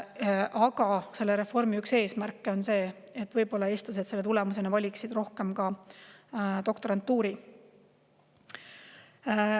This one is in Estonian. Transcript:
Aga selle reformi üks eesmärke on see, et eestlased selle tulemusena valiksid rohkem doktorantuuri.